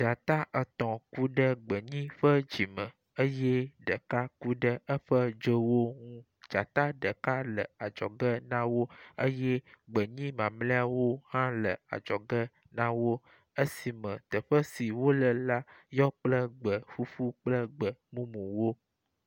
Dzata etɔ̃ ku ɖe gbenyi ƒe dzime eye ɖeka ku ɖe eƒe dzowo ŋu. dzata ɖeka le adzɔge na wo eye gbenyi mamlɛawo hã le adzɔge na wo esime teƒe si wole la yɔ kple gbe ƒuƒu kple gbe mumuwo.